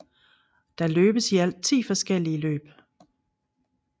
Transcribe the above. Der løbes i alt 10 forskellige løb